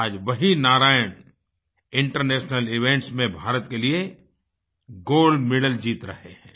आज वही Narayan international events में भारत के लिए गोल्ड मेडल जीत रहे हैं